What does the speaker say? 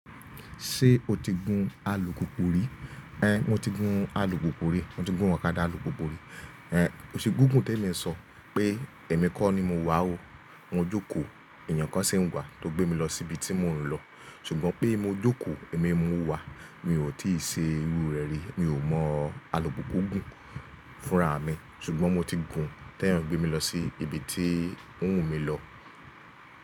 Ṣé o ti gun alùpùpù rí? É mo ti gun alùpùpù rí, mo ti gun okadà alùpùpù rí. É o ṣe gúgùn tẹ́ mi sọ pé èmi kọ́ ni mo wà ó, mo jókòó èèyàn kan sì ń wà tó gbé mi lọ síbi tí mò ń lọ. Ṣùgbọ́n pé mo jókòó èmi mo wà, mi ò tíì ṣe irú rẹ̀ rí, mi ò mọ̀ alùpùpù gùn fúnra mi, ṣùgbọ́n mo ti gùn tẹ́ èèyàn gbé mi lọ sí ibi tí ó wù mí lọ.